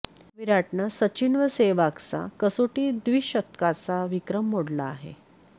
विराटनं सचिन व सेहवागचा कसोटी द्विशतकांचा विक्रम मोडला आहे